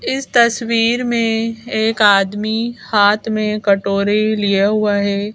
इस तस्वीर में एक आदमी हाथ में कटोरी लिया हुआ है।